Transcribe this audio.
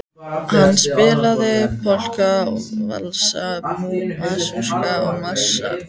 Hann spilaði polka og valsa, masúrka og marsa.